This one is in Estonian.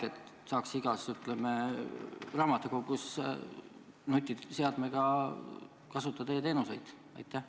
Millal saaks igas raamatukogus nutiseadme abil kasutada e-teenuseid?